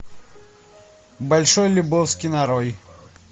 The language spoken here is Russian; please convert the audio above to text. большой любовский нарой